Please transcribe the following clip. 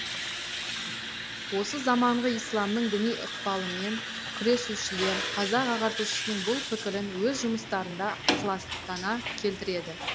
осы заманғы исламның діни ықпалымен күресушілер қазақ ағартушысының бұл пікірін өз жұмыстарында ықыластана келтіреді